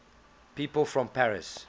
people from paris